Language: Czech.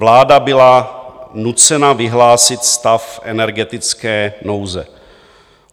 Vláda byla nucena vyhlásit stav energetické nouze.